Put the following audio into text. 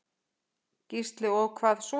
Gísli: Og hvað svo?